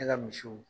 Ne ka misiw